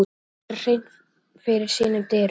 Hann vildi gera hreint fyrir sínum dyrum.